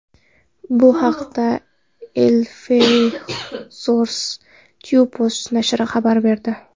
Bu haqda Eleftheros Typos nashri xabar berdi .